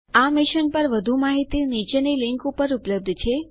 આ મિશન પર વધુ માહિતી નીચેની લીંક ઉપર ઉપલબ્ધ છે